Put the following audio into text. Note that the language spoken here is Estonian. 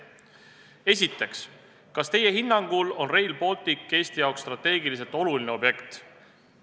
Esiteks, kas teie hinnangul on Rail Baltic Eesti jaoks strateegiliselt oluline objekt?